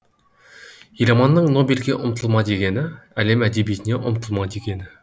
еламанның нобельге ұмтылма дегені әлем әдебиетіне ұмтылма дегені